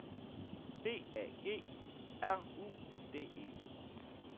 B A G R U D E